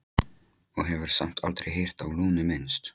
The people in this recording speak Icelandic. Og hefur samt aldrei heyrt á Lúnu minnst?